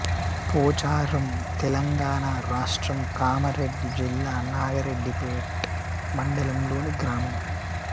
పోచారం తెలంగాణ రాష్ట్రం కామారెడ్డి జిల్లా నాగరెడ్డిపేట్ మండలంలోని గ్రామం